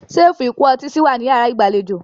Ṣẹ́ẹ́fù ìkó ọtí si wà ní yàrá ìgbàlejò.